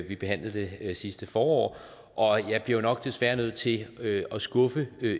vi behandlede det sidste forår og jeg bliver desværre nok nødt til at skuffe